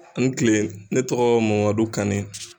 Ani kile ne tɔgɔ Mamadu Kane.